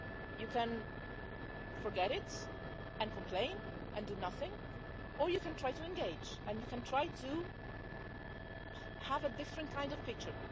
You can forget it and complain and do nothing, or you can try to engage and you can try to have a different kind of picture.